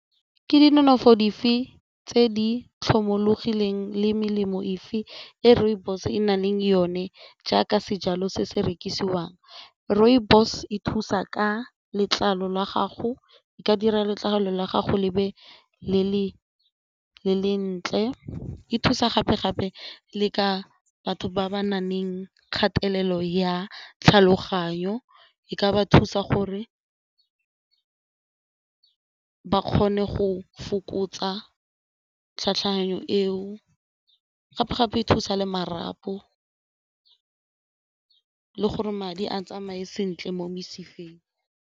Ke di nonofo dife tse di tlhomologileng le melemo efe e rooibos e nang le yone jaaka sejalo se se rekisiwang? Rooibos e thusa ka letlalo la gago, e ka dira letlalo la gago lebe le le ntle e thusa gape-gape le ka batho ba ba na leng kgatelelo ya tlhaloganyo, e ka ba thusa gore ba kgone go fokotsa eo gape-gape e thusa le marapo gore madi a tsamaye sentle mo mesifeng.